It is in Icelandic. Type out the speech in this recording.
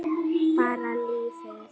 Bara lífið.